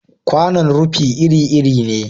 Kwanon rufi iri-iri ne.